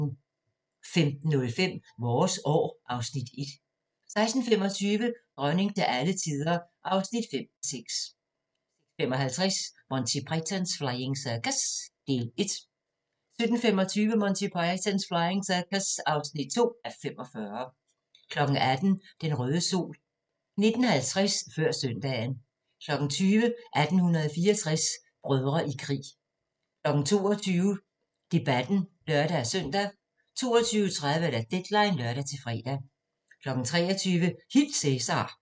15:05: Vores år (Afs. 1) 16:25: Dronning til alle tider (5:6) 16:55: Monty Python's Flying Circus (1:45) 17:25: Monty Python's Flying Circus (2:45) 18:00: Den røde sol 19:50: Før søndagen 20:00: 1864 – Brødre i krig 22:00: Debatten (lør-søn) 22:30: Deadline (lør-fre) 23:00: Hil Cæsar!